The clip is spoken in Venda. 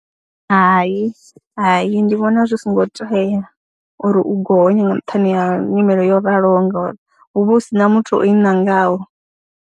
Hai, hai, ndi vhona zwi songo tea uri u gonye nga nṱhani ha nyimele yo raloho ngori hu vha hu si na muthu o i ṋangaho.